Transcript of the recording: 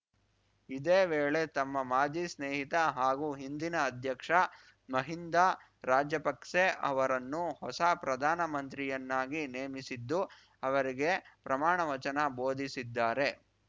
ಇದೇ ವೇಳೆ ತಮ್ಮ ಮಾಜಿ ಸ್ನೇಹಿತ ಹಾಗೂ ಹಿಂದಿನ ಅಧ್ಯಕ್ಷ ಮಹಿಂದ ರಾಜಪಕ್ಸೆ ಅವರನ್ನು ಹೊಸ ಪ್ರಧಾನಮಂತ್ರಿಯನ್ನಾಗಿ ನೇಮಿಸಿದ್ದು ಅವರಿಗೆ ಪ್ರಮಾಣವಚನ ಬೋಧಿಸಿದ್ದಾರೆ